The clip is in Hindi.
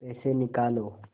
पैसे निकालो